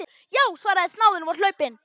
Já, svaraði snáðinn og var hlaupinn.